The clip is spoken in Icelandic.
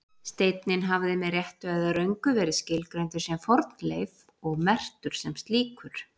Steinninn hafði með réttu eða röngu verið skilgreindur sem fornleif og merktur sem slíkur.